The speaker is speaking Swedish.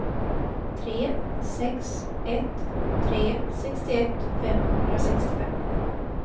tre sex ett tre sextioett femhundrasextiofem